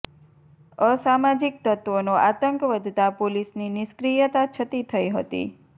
અસામાજીક તત્ત્વોનો આતંક વધતા પોલીસની નિષ્ક્રિયતા છતી થઇ હતી